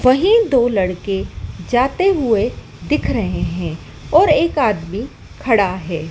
वही दो लड़के जाते हुए दिख रहे हैं और एक आदमी खड़ा है।